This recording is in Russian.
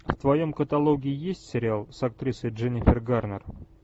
в твоем каталоге есть сериал с актрисой дженнифер гарнер